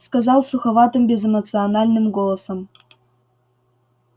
сказал суховатым безэмоциональным голосом